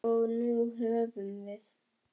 Og nú höfum við